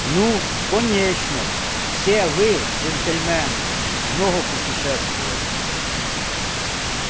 ну конечно все вы джентльмены много путешествовали